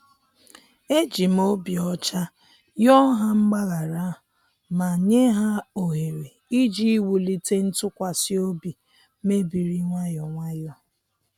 E jim obi ocha yoo ha mgbaghara ma nye ha ohere iji wulite ntụkwasị obi mebiri nwayọ nwayọ